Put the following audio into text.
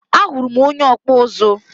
Ahuru m onye ọkpụ ụzụ.